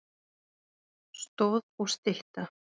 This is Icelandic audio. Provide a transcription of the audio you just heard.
Stoð og stytta.